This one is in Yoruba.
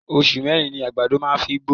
oṣù mẹ́rin ni àgbàdo máa ń fi ń gbó.